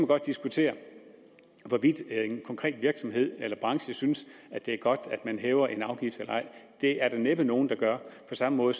godt diskutere hvorvidt en konkret virksomhed eller branche synes det er godt at man hæver en afgift det er der næppe nogen der gør på samme måde